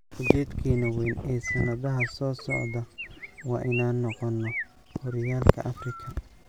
"Ujeedkeena weyn ee sanadaha soo socda waa inaan noqono horyaalka Afrika."